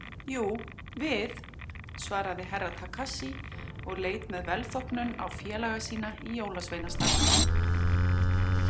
Jú, við, svaraði Herra Takashi og leit með velþóknun á félaga sína í jólasveinastarfinu.